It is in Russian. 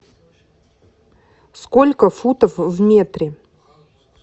сколько футов в метре